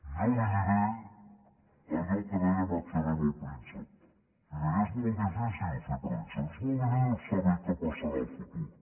jo li diré allò que deia maquiavel al príncep li deia és molt difícil fer prediccions és molt difícil saber què passarà al futur